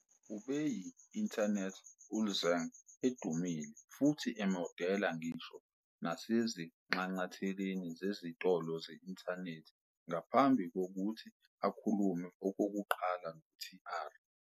Ubeyi- internet ulzzang edumile futhi emodela ngisho nasezinxanxatheleni zezitolo ze-inthanethi ngaphambi kokuthi akhulume okokuqala no- T-ara.